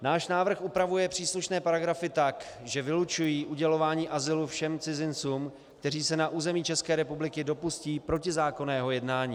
Náš návrh upravuje příslušné paragrafy tak, že vylučují udělování azylu všem cizincům, kteří se na území České republiky dopustí protizákonného jednání.